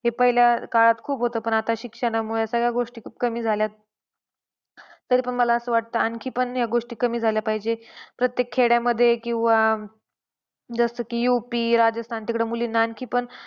हे पहिल्या काळात खूप होतं पण आता शिक्षणामुळे आता सगळ्यागोष्टी खूप कमी झाल्यात. तरी पण मला असे वाटतं आणखी पण ह्या गोष्टी कमी झाल्या पाहिजेत. प्रत्येक खेड्यामध्ये किंवा अं जसं की UP, राजस्थान तिकडं मुलींना आणखी पण.